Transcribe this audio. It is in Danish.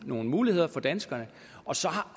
nogle muligheder for danskerne og så